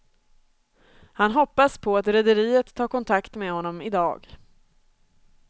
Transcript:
Han hoppas på att rederiet tar kontakt med honom i dag.